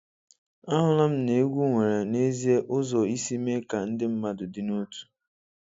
Ahụla m na egwu nwere n'ezie ụzọ isi mee ka ndị mmadụ dị n'otu.